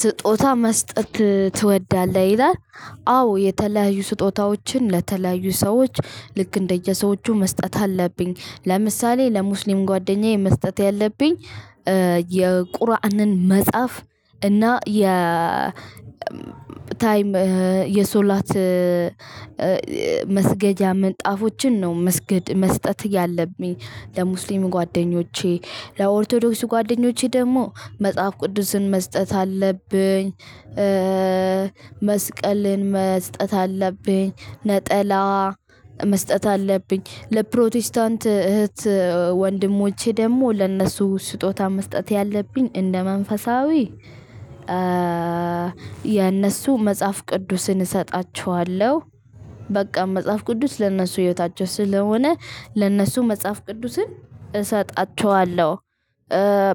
ስጦታ መስጠት ትወዳለህ ይላል። አዎ የተለያዩ ስጦታዎችን ለተለያዩ ሰዎች ልክ እንደየሰዎቹ መስጠት አለብኝ። ለምሳሌ ለሙስሊም ጓደኛዬ መስጠት ያለብኝ የቁርአንን መጽሐፍ እና የ ታይም የሶለት መስገጃ ምንጣፎችን ነው መስገድ መስጠት ያለብኝ ለሙስሊም ጓደኞቼ። ለኦርቶዶክስ ጓደኞቼ ደግሞ መጽሐፍ ቅዱስን መስጠት አለብኝ፣ መስቀል መስጠት አለብኝ። ነጠላ መስጠት አለብኝ። ለፕሮቴስታንት እህት ወንድሞቼ ደግሞ ለእነሱ ስጦታ መስጠት ያለብኝ እንደ መንፈሳዊ የእነሱ መጽሐፍ ቅዱስን እሰጣችኋለሁ። በቃ መጽሐፍ ቅዱስ ለእነሱ ህይወታቸው ስለሆነ ለእነሱ መጽሐፍ ቅዱስን እሰጣቸዋለሁ።